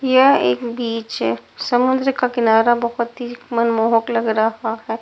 यह एक बीच हैं समुद्र का किनारा बहुत ही मनमोहक लग रहा है।